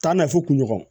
K'a na fɔ kun ɲɔgɔn kɔ